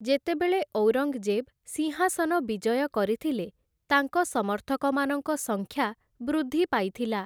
ଯେତେବେଳେ ଔରଙ୍ଗ୍‌ଜେବ୍‌ ସିଂହାସନ ବିଜୟ କରିଥିଲେ, ତାଙ୍କ ସମର୍ଥକମାନଙ୍କ ସଂଖ୍ୟା ବୃଦ୍ଧି ପାଇଥିଲା ।